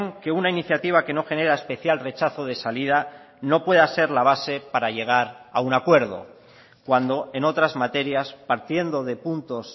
que una iniciativa que no genera especial rechazo de salida no pueda ser la base para llegar a un acuerdo cuando en otras materias partiendo de puntos